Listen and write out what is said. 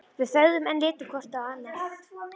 Við þögðum enn, litum hvort á annað.